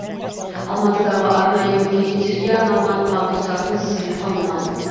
алматыдағы арнайы мүгедектерге арналған пандустардың сыйқы мынау